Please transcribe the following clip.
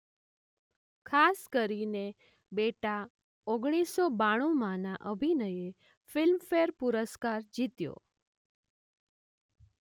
ખાસ કરીને બેટા ઓગણીસો બાણુંમાંના અભિનયે ફિલ્મફેર પુરસ્કાર જીત્યો.